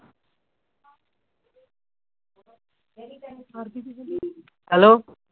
hello